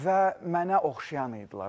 Və mənə oxşayan idilər.